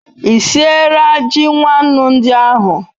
I siera ji nwannu ndi ahu